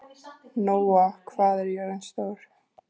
Nóa, hvað er jörðin stór?